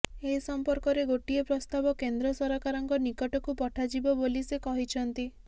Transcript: ଏ ସମ୍ପର୍କରେ ଗୋଟିଏ ପ୍ରସ୍ତାବ କେନ୍ଦ୍ର ସରକାରଙ୍କ ନିକଟକୁ ପଠାଯିବ ବୋଲି ସେ କହିଛନ୍ତି